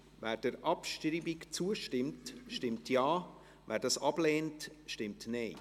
Wer der Abschreibung zustimmt, stimmt Ja, wer diese ablehnt, stimmt Nein.